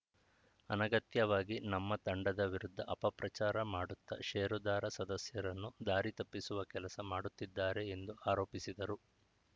ಅನಗತ್ಯವಾಗಿ ನಮ್ಮ ತಂಡದ ವಿರುದ್ಧ ಅಪಪ್ರಚಾರ ಮಾಡುತ್ತಾ ಷೇರುದಾರ ಸದಸ್ಯರನ್ನು ದಾರಿ ತಪ್ಪಿಸುವ ಕೆಲಸ ಮಾಡುತ್ತಿದ್ದಾರೆ ಎಂದು ಆರೋಪಿಸಿದರು